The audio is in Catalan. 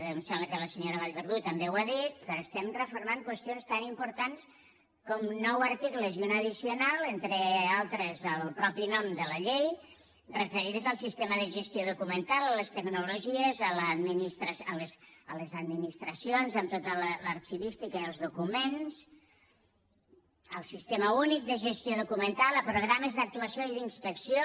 em sembla que la senyora vallverdú també ho ha dit però estem reformant qüestions tan importants com nou articles i una addicional entre altres el mateix nom de la llei referides al servei de gestió documental a les tecnologies a les administracions amb tota l’arxivística i els documents al sistema únic de gestió documental a programes d’actuació i d’inspecció